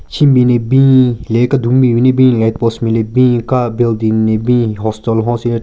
Shenbin ne bin hile kedun ben ne bin light post nme le bin ka building ne bin hostel hon syu chera--